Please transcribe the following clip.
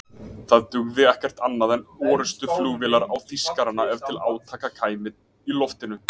Það dugði ekkert annað en orrustuflugvélar á Þýskarana ef til átaka kæmi í loftinu.